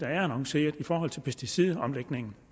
er annonceret i forhold til pesticidomlægningen